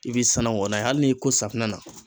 I bɛ sanango n'a ye hali n'i y'i ko safinɛ na.